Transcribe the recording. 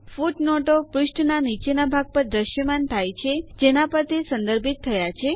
ફૂટનોટો પુષ્ઠના નીચેના ભાગ પર દ્રશ્યમાન થાય છે જેના પર તે સંદર્ભિત થયા છે